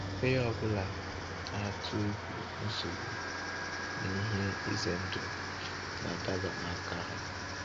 Onye ọ bụla na-atụ egwu nsogbu na ihe ize ndụ na-adaba n’aka ha.